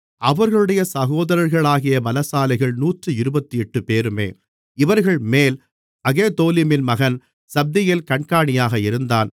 அவர்களுடைய சகோதரர்களாகிய பலசாலிகள் நூற்று இருபத்தெட்டுபேருமே இவர்கள்மேல் அகெதோலிமின் மகன் சப்தியேல் கண்காணியாக இருந்தான்